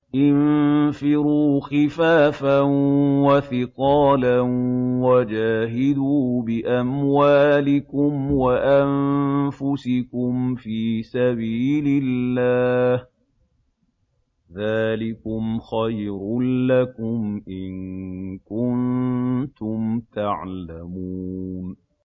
انفِرُوا خِفَافًا وَثِقَالًا وَجَاهِدُوا بِأَمْوَالِكُمْ وَأَنفُسِكُمْ فِي سَبِيلِ اللَّهِ ۚ ذَٰلِكُمْ خَيْرٌ لَّكُمْ إِن كُنتُمْ تَعْلَمُونَ